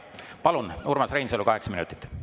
Palun, Urmas Reinsalu, kaheksa minutit!